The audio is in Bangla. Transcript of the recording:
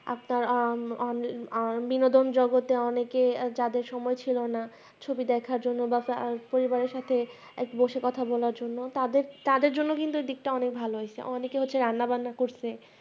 আপনার আহ আহ বিনোদন জগতে অনেকে যাদের সময় ছিল না ছবি দেখার জন্য বা আহ পরিবারের সাথে বসে কথা বলার জন্য তাদের তাদের জন্য কিন্তু দিকটা অনেক ভালো হৈছে অংকে হচ্ছে রান্না বান্না করছে